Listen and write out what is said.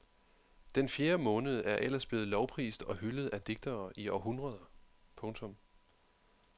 Den fjerde måned er ellers blevet lovprist og hyldet af digtere i århundreder. punktum